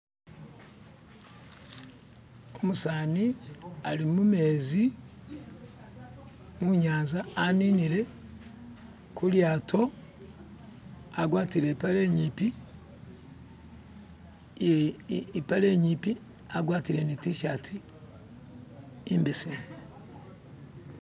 Umusani ali mumezi munyanza aninile kulyato agwatile ipale inyipi ipale inyipi agwatile ni tishati imbesemu